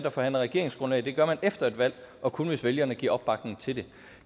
og forhandler regeringsgrundlag det gør man efter et valg og kun hvis vælgerne giver opbakning til det